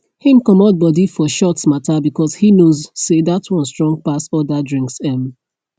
him comot body for shots mata because he knows say that one strong pass other drinks um